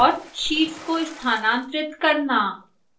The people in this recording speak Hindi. sheets को स्थानांतरित करना